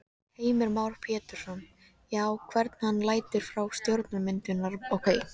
Heimir Már Pétursson: Já, hvern hann lætur frá stjórnarmyndunarumboðið?